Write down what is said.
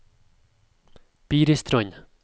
Biristrand